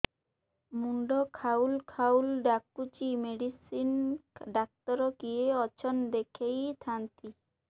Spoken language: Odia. ମୁଣ୍ଡ ଖାଉଲ୍ ଖାଉଲ୍ ଡାକୁଚି ମେଡିସିନ ଡାକ୍ତର କିଏ ଅଛନ୍ ଦେଖେଇ ଥାନ୍ତି